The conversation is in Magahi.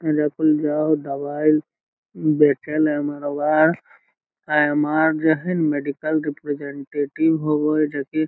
एजा पडी दवाई देखे में एमारवा हई | अ एम.आर. जो है ना मेडिकल रिप्रेजेन्टेटिव होवे है | जो की --